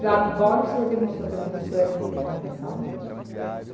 Falei, agora o senhor demonstrou para mim que o senhor é secretário da saúde.